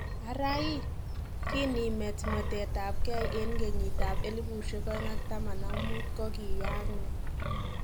Ara hii, kinimet mwetet ab keei en ngenyit ab 2015 kogiyaak nee?